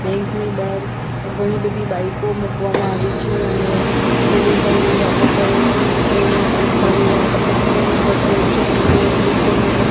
bank ની બહાર ઘણી બધી બાઈકો મૂકવામાં આવી છે અને જે બે ભાઈઓ વાતો કરે છે એ એક ભાઈએ સફેદ કલર નું શર્ટ પહેર્યું છે અને બીજાએ બ્લુ કલર નું --